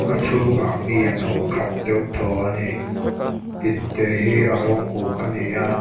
a chhungah mi an awm khat deuh thaw ani in te hi a rawng uk ani a--